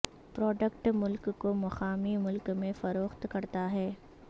product ملک کو مقامی ملک میں فروخت کرتا ہے